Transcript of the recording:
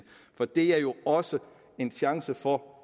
for det er jo også en chance for